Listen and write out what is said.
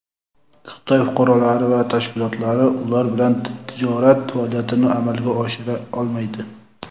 Xitoy fuqarolari va tashkilotlari ular bilan tijorat faoliyatini amalga oshira olmaydi.